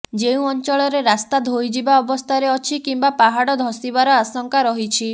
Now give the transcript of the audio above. ଯେଉଁ ଅଂଚଳରେ ରାସ୍ତା ଧୋଇଯିବା ଅବସ୍ଥାରେ ଅଛି କିମ୍ବା ପାହାଡ଼ ଧସିବାର ଆଶଙ୍କା ରହିଛି